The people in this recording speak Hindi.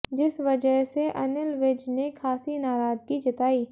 जिस वजह से अनिल विज ने खासी नाराजगी जताई